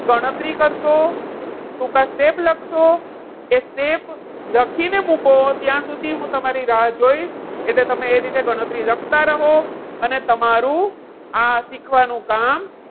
ગણતરી કરશો, ટૂંકા step લખશો, એ step લખીને મૂકો ત્યાં સુધી હું તમારી રાહ જોઇશ. એટલે એ રીતે તમે ગણતરી લખતા રહો. અને તમારું આ શીખવાનું કામ,